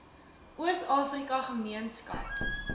oos afrika gemeenskap